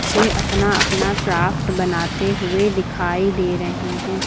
बच्चे अपना अपना क्राफ्ट बनाते हुए दिखाई दे रहे हैं।